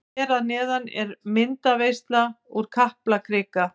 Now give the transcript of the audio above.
Hér að neðan er myndaveisla úr Kaplakrika.